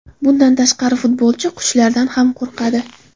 Bundan tashqari, futbolchi qushlardan ham qo‘rqadi.